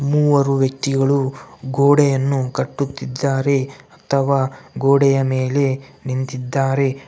ಮೂವರು ವ್ಯಕ್ತಿಗಳು ಗೋಡೆಯನ್ನು ಕಟ್ಟುತ್ತಿದ್ದಾರೆ ಅಥವಾ ಗೋಡೆಯ ಮೇಲೆ ನಿಂತಿದ್ದಾರೆ.